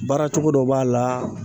Baara cogo dɔ b'a la